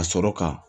Ka sɔrɔ ka